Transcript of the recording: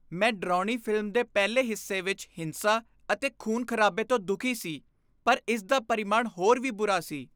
ਮੈਂ ਡਰਾਉਣੀ ਫ਼ਿਲਮ ਦੇ ਪਹਿਲੇ ਹਿੱਸੇ ਵਿੱਚ ਹਿੰਸਾ ਅਤੇ ਖ਼ੂਨ ਖ਼ਰਾਬੇ ਤੋਂ ਦੁਖੀ ਸੀ ਪਰ ਇਸ ਦਾ ਪਰਿਮਾਣ ਹੋਰ ਵੀ ਬੁਰਾ ਸੀ